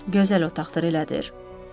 Gözəl otaqdır, elədir?